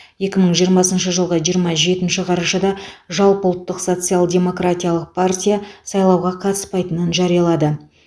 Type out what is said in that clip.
екі мың жиырмасыншы жылғы жиырма жетінші қарашада жалпыұлттық социал демократиялық партия сайлауға қатыспайтынын жариялады